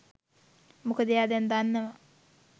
මොකද එයා දැන් දන්නවා